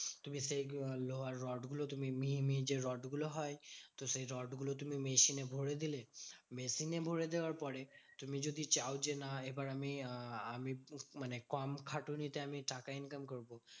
তুমি সেই লোহার রড গুলো তুমি মিহি মিহি যে রোডগুলো হয়। তো সেই রোডগুলো তুমি machine এ ভোরে দিলে। machine এ ভোরে দেওয়ার পরে তুমি যদি চাও যে না এবার আমি আহ আমি মানে কম খাটুনিতে আমি টাকা income করবো।